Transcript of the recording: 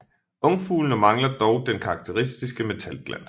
Ungfuglene mangler dog den karakteristiske metalglans